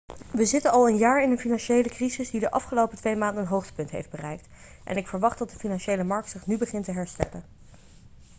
we zitten al een jaar in een financiële crisis die de afgelopen twee maanden een hoogtepunt heeft bereikt en ik verwacht dat de financiële markt zich nu begint te herstellen.'